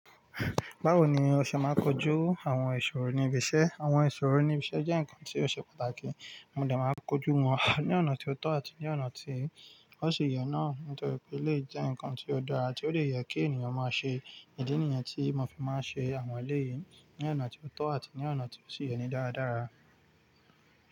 Báwo ni o ṣe máa kojú àwọn ìṣòro níbi iṣẹ́? Àwọn ìṣòro níbi iṣẹ́ jẹ́ nǹkan tí ó ṣe pàtàkì. Mo dà máa kojú wọn ní ọ̀nà tí ó tọ́ àti ní ọ̀nà tí ó sì yẹ náà nítorí pé lè jẹ́ ǹkan tí ó dára tí ó lè yẹ kí ènìyàn máa ṣe. Ìdí nìyẹn tí mo fi máa ń ṣe àwọn eléyìí ní ọ̀nà tí ó tọ́ àti ní ọ̀nà tí ó sì yẹ ní dáradára.